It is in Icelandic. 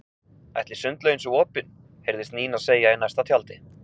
Ætli sundlaugin sé opin? heyrðist Nína segja í næsta tjaldi.